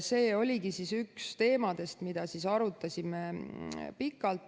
See oligi üks teemadest, mida arutasime pikalt.